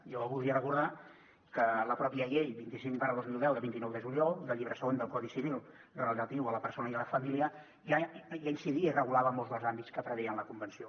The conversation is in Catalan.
jo voldria recordar que la pròpia llei vint cinc dos mil deu de vint nou de juliol del llibre segon del codi civil relatiu a la persona i la família ja incidia i regulava molts dels àmbits que preveia la convenció